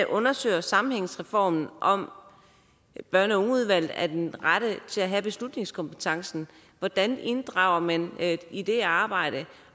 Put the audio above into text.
undersøger sammenhængsreformen om børn og unge udvalget er den rette instans til at have beslutningskompetencen hvordan inddrager man i det arbejde